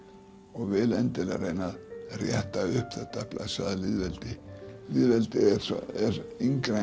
og vil endilega reyna að rétta upp þetta blessaða lýðveldi lýðveldið er yngra